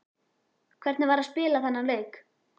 Hvernig var að spila þennan leik?